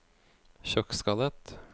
sjokkskadet